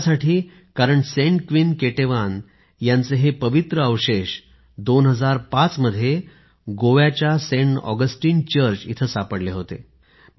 असं यासाठी कारण सेंट क्वीन केटेवान यांचे हे अवशेष २००५ मध्ये गोव्याच्या सेंट ऑगस्टीन चर्च येथे सापडले होते